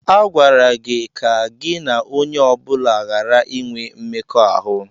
A gwara gị ka gị na onye ọ bụla ghara inwe mmekọahụ!